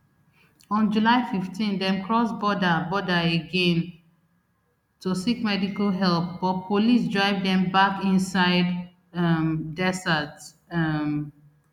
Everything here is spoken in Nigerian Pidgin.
on july fifteen dem cross border border again to seek medical help but police drive dem back inside um desert um